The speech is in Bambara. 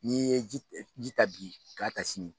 N'i ye ji ta bi k'a ta sini